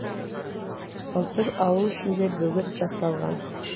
былтыр ауыл ішінде бөгет жасалған